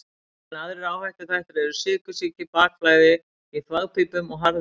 Enn aðrir áhættuþættir eru sykursýki, bakflæði í þvagpípum og harðlífi.